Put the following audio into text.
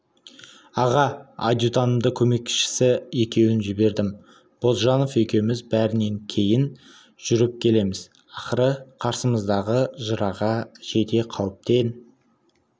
аға адьютантымды көмекшісі екеуін жібердім бозжанов екеуміз бәрінен кейін жүріп келеміз ақыры қарсымыздағы жыраға жете қауіптен